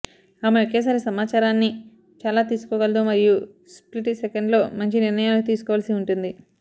ఆమె ఒకేసారి సమాచారాన్ని చాలా తీసుకోగలదు మరియు స్ప్లిట్ సెకండ్లో మంచి నిర్ణయాలు తీసుకోవలసి ఉంటుంది